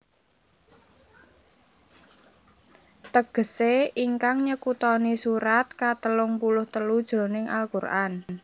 Tegesé ingkang nyekutoni Surat katelung puluh telu jroning al Qur an